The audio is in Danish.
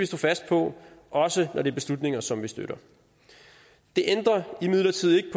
stå fast på også når det beslutninger som vi støtter det ændrer imidlertid ikke